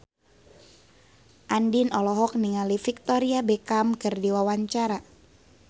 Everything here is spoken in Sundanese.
Andien olohok ningali Victoria Beckham keur diwawancara